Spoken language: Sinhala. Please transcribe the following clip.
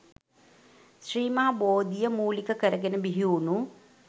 ශ්‍රී මහා බෝධිය මූලික කරගෙන බිහිවුණු